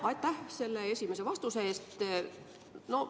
Aitäh selle esimese vastuse eest!